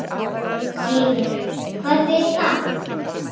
Heimir: Hvað þýðir það?